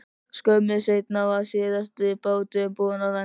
Skömmu seinna var síðasti báturinn búinn að landa.